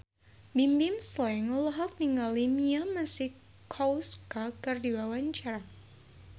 Bimbim Slank olohok ningali Mia Masikowska keur diwawancara